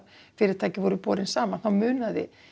fyrirtækin voru borin saman þá munaði